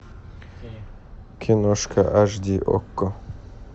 киношка аш ди окко